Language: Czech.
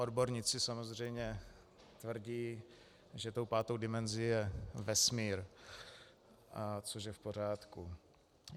Odborníci samozřejmě tvrdí, že tou pátou dimenzí je vesmír, což je v pořádku.